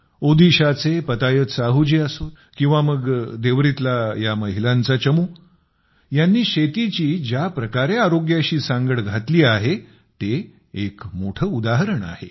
ओदिशाचे पतायत साहूजी असोत किंवा मग देवरीतला या महिलांचा चमू यांनी शेतीची ज्याप्रकारे आरोग्याशी सांगड घातली आहे ते एक मोठं उदाहरण आहे